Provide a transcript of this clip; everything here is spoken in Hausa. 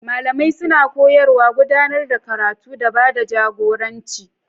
Malamai suna koyarwa, gudanar da karatu, da ba da jagoranci.